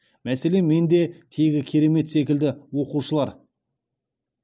мәселен менде тегі керемет секілді оқушылар